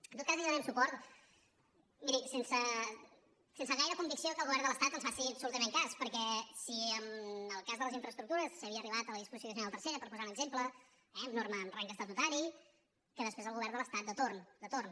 en tot cas hi donarem suport miri sense gaire convicció que el govern de l’estat ens faci absolutament cas perquè si en el cas de les infraestructures s’havia arribat a la disposició addicional tercera per posar un exemple amb norma amb rang estatutari que després el govern de l’estat de torn de torn